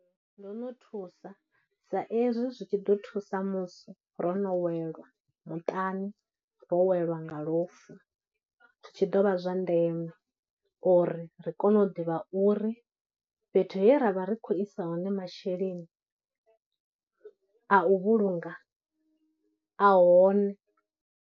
Ndo no thusa sa ezwi zwi tshi ḓo thusa musi ro no welwa muṱani, ro welwa nga lufu zwi tshi dovha zwa ndeme uri ri kone u ḓivha uri fhethu he ra vha ri khou isa hone masheleni a u vhulunga a hone.